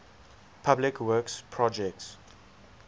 public works projects